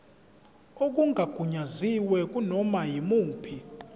okungagunyaziwe kunoma yimuphi